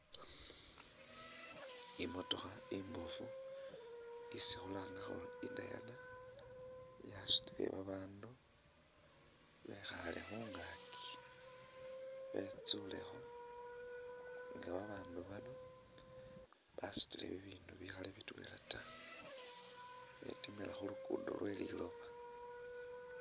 Imotokha imbofu isi khulanga khuri i'diana yasutile babaandu bekhaale khungaaki betsulekho nga babaandu bano basutile bibindu bikhaali bitwela taa khetimila khulugudo lweliloba